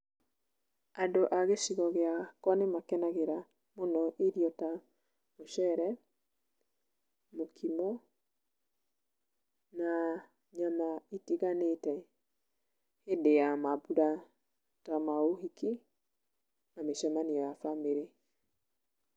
Andũ a gĩcigo gĩakwa nĩ makenagĩra mũno irio ta mũcere, mũkimo, na nyama itiganĩte hĩndĩ ya mambura ta maũhiki na mĩcemanio ya bamĩrĩ.